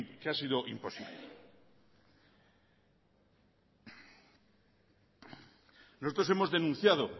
que ha sido imposible nosotros hemos denunciado